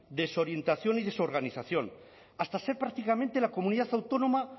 desorientación y desorganización hasta ser prácticamente la comunidad autónoma